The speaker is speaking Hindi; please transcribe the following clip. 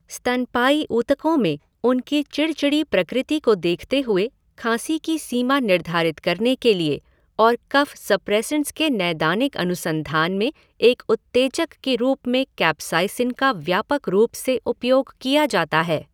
स्तनपायी ऊतकों में उनकी चिड़चिड़ी प्रकृति को देखते हुए खाँसी की सीमा निर्धारित करने के लिए और कफ सप्रेसेंट्स के नैदानिक अनुसंधान में एक उत्तेजक के रूप में कैप्साइसिन का व्यापक रूप से उपयोग किया जाता है।